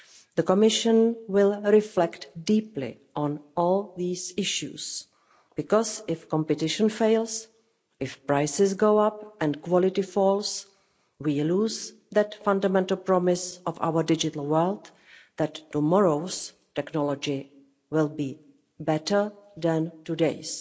The Commission will reflect deeply on all these issues because if competition fails, if prices go up and quality falls, we lose that fundamental promise of our digital world that tomorrow's technology will be better than today's.